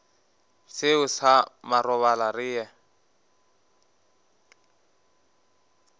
seo sa marobalo re ye